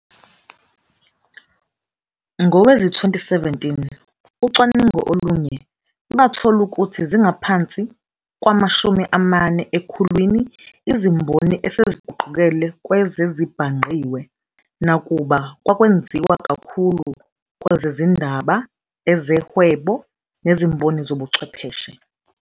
Ngowezi-2017, ucwaningo olunye lwathola ukuthi zingaphansi kwama-40 ekhulwini izimboni eseziguqukele kwezezibhangqiwe, nakuba kwakwenziwa kakhulu kwezezindaba, ezehwebo, nezimboni zobuchwepheshe.